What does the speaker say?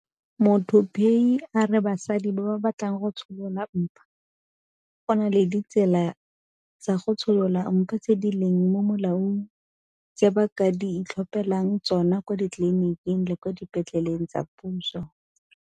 Muthuphei a re basadi ba ba batlang go tsholola mpa go na le ditsela tsa go tsholola mpa tse di leng mo molaong tse ba ka itlhophelang tsona kwa ditleleniking le kwa dipetleleng tsa puso.